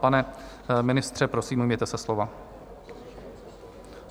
Pane ministře, prosím, ujměte se slova.